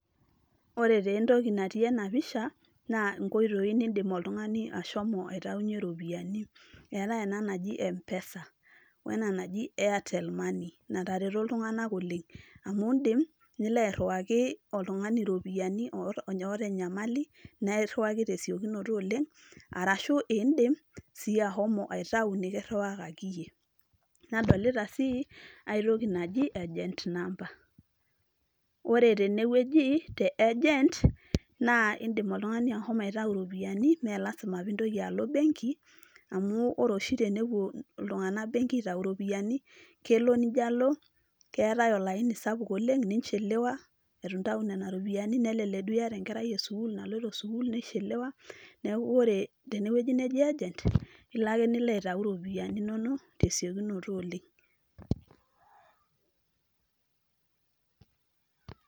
Ore taa entoki natii ena pisha na inkoitoi niidim oltung'ani ashomo nintaunye iropiyani, eetai ena naji m-pesa oo ena naji Airtel Money natareto iltung'anak oleng' amuu indim nilo airriwaki oltung'ani iropiyani ooota enyamali naa irriwaki te simu te siokinoto oleng' arashu indim siyie aitayu nikirriwakaki iyie nadolita sii enkai toki naji CS[Agent Number]CS ore tenewoji te CS[Agent]CS naa indim oltung'ani ashomo aitayu iropiyani mee lasima piilo embenki amuu ore oshi tenepua iltung'anak benki apuo aitayu iropiyani kelo nijo alo keetai olaini sapuk oleng' CS[unachelewa]CS itu intayu nena ropiyani nelelek duoo iyataenkerai e CS[School]CS naloito CS[School]CS CS[Nichelewa]CS neeku ore tenewoji neji CS[Agent]CS ilo ake nilo aitayu iropiyani inonok te siokinoto oleng'.